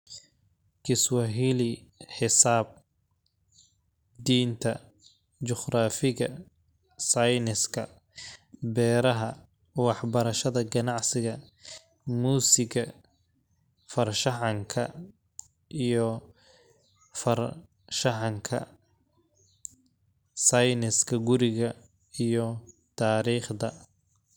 Kiswahili, Xisaab, Diinta, Juqraafiga, Sayniska, Beeraha, Waxbarashada Ganacsiga, Muusiga, Farshaxanka iyo Farshaxanka, Sayniska Guriga, iyo Taariikhda.